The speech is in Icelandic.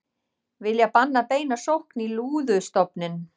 Vilja banna beina sókn í lúðustofninn